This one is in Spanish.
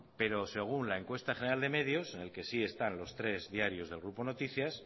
pero según la encuesta general de medios en el que sí están los tres diarios del grupo noticias